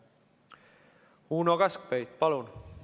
Uno Kaskpeit, palun!